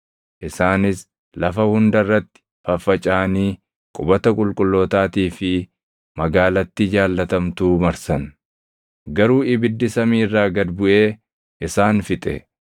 Isaanis lafa hunda irratti faffacaʼanii qubata qulqullootaatii fi magaalattii jaallatamtuu marsan. Garuu ibiddi samii irraa gad buʼee isaan fixe.